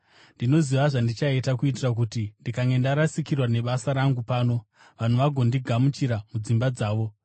ndinoziva zvandichaita kuitira kuti, ndikange ndarasikirwa nebasa rangu pano, vanhu vagondigamuchira mudzimba dzavo.’